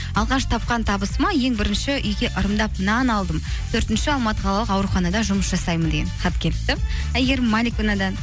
алғаш тапқан табысыма ең бірінші үйге ырымдап нан алдым төртінші алматы қалалық ауруханада жұмыс жасаймын деген хат келіпті әйгерім маликовнадан